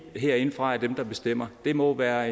herindefra bestemmer det må være